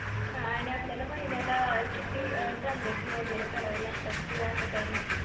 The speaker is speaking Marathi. हा आणि आपल्याला महिन्याला किती transaction वैगरे करावे लागतात, कि असं काही नाही